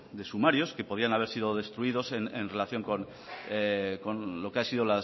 de sumarios que podían haber sido destruidos en relación con lo que han sido